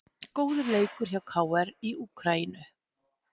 Góður leikur hjá KR í Úkraínu